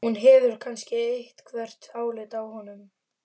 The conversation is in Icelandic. Hún hefur kannski eitthvert álit á honum.